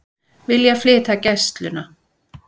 Vilja flytja Gæsluna